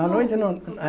À noite não.